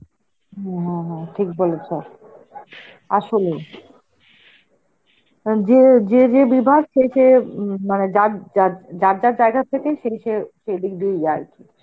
হ্যাঁ হ্যাঁ ঠিক বলেছ, আসলেই. এন্ যে~ যে যেই বিভাগ সেই সে~ উম মানে যার যার~ যার যার জায়গা থেকেই সেই সে~ সেই দিক থেকে আর কি.